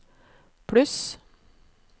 pluss